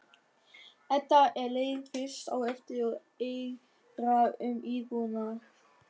Edda er leið fyrst á eftir og eigrar um íbúðina.